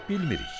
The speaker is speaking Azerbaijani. "Bilmirik."